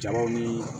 Jama ni